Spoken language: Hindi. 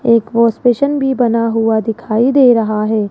एक वॉश बेसिन भी बना हुआ दिखाई दे रहा है।